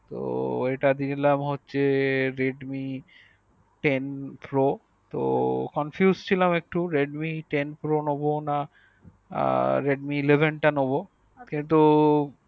তো ঐটা দিলাম হচ্ছ redmi ten pro তো confuse ছিলাম একটু redmi ten pro নেবো না আর redmi eleven তা নেবো কিন্তু